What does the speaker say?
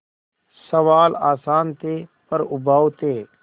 सवाल आसान थे पर उबाऊ थे